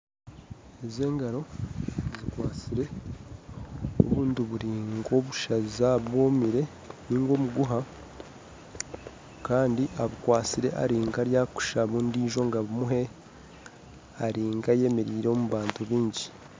Ezi engaro zikwasire obuntu buri nk'obusaza bwomire Kandi abukwatsire ari nkarikushaba ondiijo ngu abumuhe ari nkayemereire omu bantu bangi